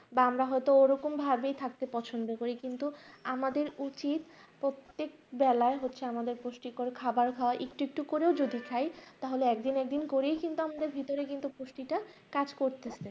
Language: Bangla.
বা আমরা হয়তো ওরকম ভাবেই থাকতে পছন্দ করি কিন্তু আমাদের উচিত প্রত্যেক বেলায় হচ্ছে আমাদের পুষ্টিকর খাবার খাওয়া একটু একটু করেও যদি খায় তাহলে একদিন একদিন করেই কিন্তু আমাদের ভিতরে কিন্তু পুষ্টিটা কাজ করতে থাকে